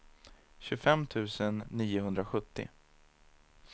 tjugofem tusen niohundrasjuttio